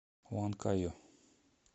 уанкайо